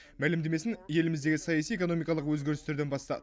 мәлімдемесін еліміздегі саяси экономикалық өзгерістерден бастады